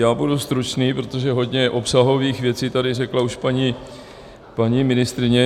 Já budu stručný, protože hodně obsahových věcí tady řekla už paní ministryně.